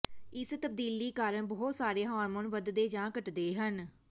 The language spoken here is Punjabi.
ਇਸ ਤਬਦੀਲੀ ਕਾਰਨ ਬਹੁਤ ਸਾਰੇ ਹਾਰਮੋਨ ਵਧਦੇ ਜਾਂ ਘੱਟਦੇ ਹਨ